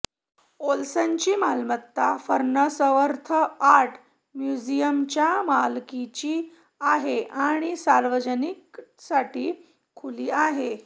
ओल्सनची मालमत्ता Farnsworth art म्युझियमच्या मालकीची आहे आणि सार्वजनिकसाठी खुली आहे